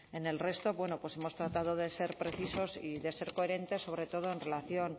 en el resto bueno pues hemos tratado de ser precisos y de ser coherentes sobre todo en relación